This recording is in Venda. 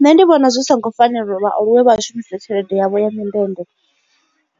Nṋe ndi vhona zwi songo fanela uri vhaaluwe vha shumise tshelede yavho ya mindende